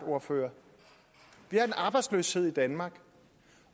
ordføreren vi har en arbejdsløshed i danmark